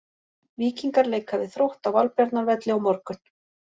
Víkingar leika við Þrótt á Valbjarnarvelli á morgun.